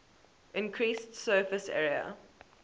increased surface area